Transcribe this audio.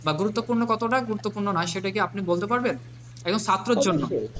বা গুরুত্বপূর্ণ কতটা গুরুত্বপূর্ণ নয় সেটা কি আপনি বলতে পারবেন, একজন ছাত্রের জন্য,